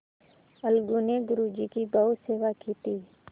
अलगू ने गुरु जी की बहुत सेवा की थी